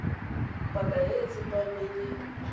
paka e e tsepameng ya